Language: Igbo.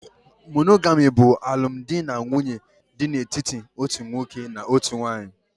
Monogami bụ alụmdi na nwunye dị n'etiti otu nwoke na otu nwanyị